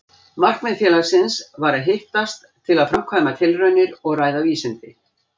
Markmið félagsins var að hittast til að framkvæma tilraunir og ræða vísindi.